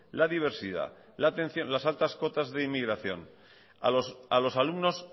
la diversidad las altas cotas de inmigración a los alumnos